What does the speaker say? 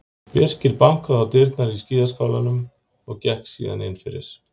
Birkir bankaði á dyrnar á skíðaskálanum og gekk síðan innfyrir.